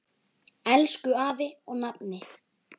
Elsku afi og nafni.